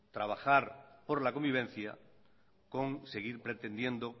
trabajar por la convivencia con seguir pretendiendo